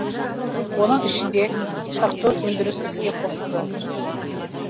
оның ішінде қырық тоғыз өндіріс іске қосылды